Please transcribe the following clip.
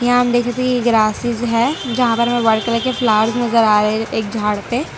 यहां हम देख सकते हैं ये ग्रासेज है जहां पर हमें व्हाइट कलर के फ्लावर्स नजर आ रहे एक झाड़ पे --